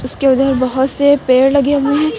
इसके उधर बहुत से पेड़ लगे हुए हैं।